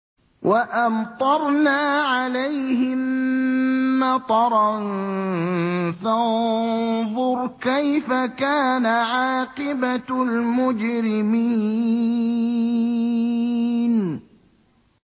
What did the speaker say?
وَأَمْطَرْنَا عَلَيْهِم مَّطَرًا ۖ فَانظُرْ كَيْفَ كَانَ عَاقِبَةُ الْمُجْرِمِينَ